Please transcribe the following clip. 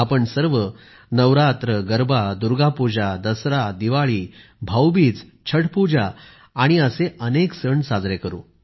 आपण सर्व नवरात्र गरबा दुर्गा पुजा दसरा दिवाळी भाऊबीज छठपूजा आणि असे अनेक सण साजरे करू